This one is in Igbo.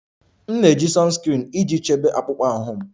M na-eji sunscreen iji chebe akpụkpọ ahụ m